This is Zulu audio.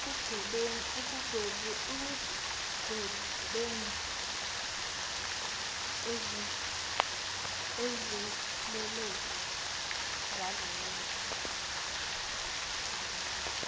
ekugwebeni izelelesi zalolu